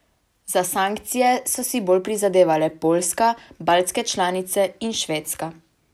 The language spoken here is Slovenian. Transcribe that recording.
Za sankcije so si bolj prizadevale Poljska, baltske članice in Švedska.